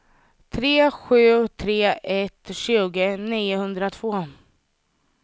tre sju tre ett tjugo niohundratvå